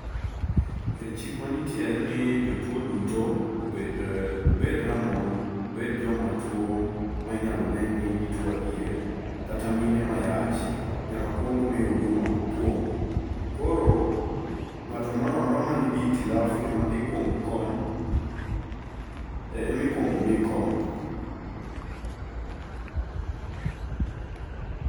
E chik manitie en ni jotuo duto obed obed rang'ol, obed joma tuo ma inyalo ne ni gituo adier kata mine mayach nyaka kuong mi huduma mokuongo. Koro ng'ato ang'ata man gi ]itilafu ema ikuongo kony emikuongo mi kony.